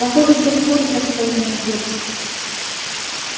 похоже все в курсе что меня ждут